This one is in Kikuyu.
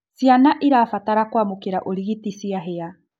Ciana irabatara kuamukira urigiti cianhia